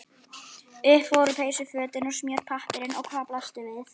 Upp fóru peysufötin og smjörpappírinn og hvað blasti við?